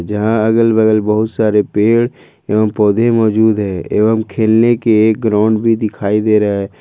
यहां अगल बगल बहुत सारे पेड़ एवं पौध मौजूद है एवं खेलने के एक ग्राउंड भी दिखाई दे रहा है।